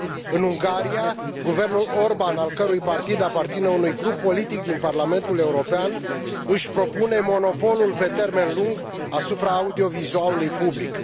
În Ungaria, guvernul Orban, al cărui partid aparține unui grup politic din Parlamentul European, își propune monopolul pe termen lung asupra audiovizualului public.